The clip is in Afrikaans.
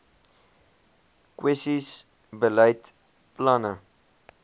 kwessies beleid planne